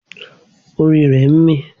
Orí rẹ̀ ń mí.